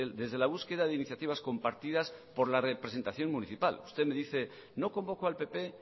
desde la búsqueda de iniciativas compartidas por la representación municipal usted me dice no convocó al pp